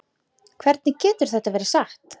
Hvernig getur það verið satt?